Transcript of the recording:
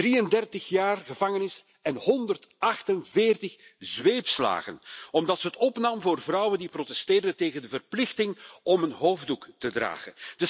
33 jaar gevangenis en 148 zweepslagen omdat ze het opnam voor vrouwen die protesteerden tegen de verplichting om een hoofddoek te dragen.